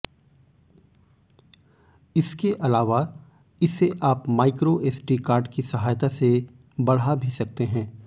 इसके अलावा इसे आप माइक्रोएसडी कार्ड की सहायता से बढ़ा भी सकते हैं